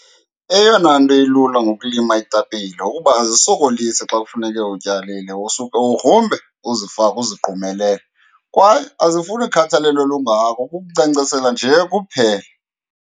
Eyona nto ilula ngokulima iitapile kukuba azisokolisi xa kufuneke utyalile, usuka ugrumbe uzifake uzigqumelele kwaye azifuni khathalelo lungako, kukunkcenkceshela nje kuphela.